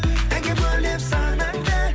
әнге бөлеп санаңды